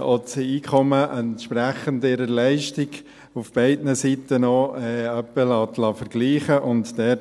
auch das Einkommen, ihrer Leistung entsprechend, auf beiden Seiten in etwa vergleichen lässt.